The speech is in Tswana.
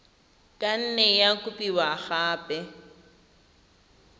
ka nne ya kopiwa gape